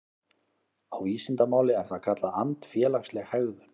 Á vísindamáli er það kallað andfélagsleg hegðun.